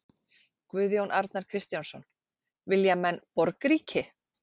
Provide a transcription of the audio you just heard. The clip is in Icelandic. Guðjón Arnar Kristjánsson: Vilja menn borgríki?